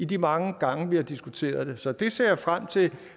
de mange gange vi har diskuteret det så det ser jeg frem til